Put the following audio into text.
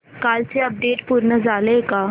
कालचं अपडेट पूर्ण झालंय का